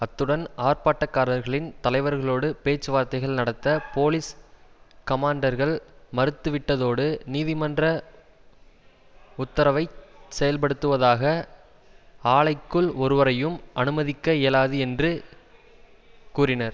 அத்துடன் ஆர்ப்பாட்டக்காரர்களின் தலைவர்களோடு பேச்சுவார்த்தைகள் நடத்த போலீஸ் கமான்டர்கள் மறுத்துவிட்டதோடு நீதிமன்ற உத்தரவை செயல்படுத்துவதாக ஆலைக்குள் ஒருவரையும் அனுமதிக்க இயலாது என்று கூறினர்